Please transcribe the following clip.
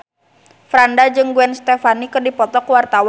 Franda jeung Gwen Stefani keur dipoto ku wartawan